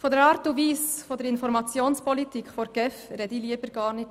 Über die Art und Weise der Informationspolitik der GEF spreche ich lieber schon gar nicht.